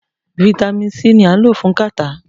Vitamin c ni a n ló fún catarrh